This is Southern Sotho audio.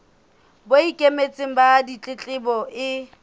bo ikemetseng ba ditletlebo e